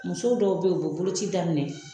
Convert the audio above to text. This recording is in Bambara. Muso dɔw bɛ yen yu bɛ boloci daminɛ